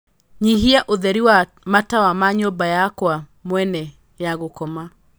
nyihia ūtheri wa matawa ma nyūmba yakwa mwene ya gūkoma